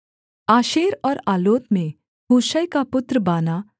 आशेर और आलोत में हूशै का पुत्र बाना